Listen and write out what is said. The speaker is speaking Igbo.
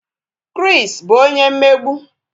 Chris bu onye mmegbu